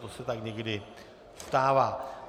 To se tak někdy stává.